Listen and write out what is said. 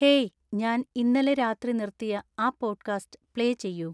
hey ഞാൻ ഇന്നലെ രാത്രി നിർത്തിയ ആ പോഡ്കാസ്റ്റ് പ്ലേ ചെയ്യൂ